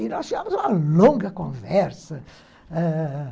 Aí nós tínhamos uma longa conversa, ah...